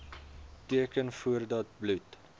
teken voordat bloed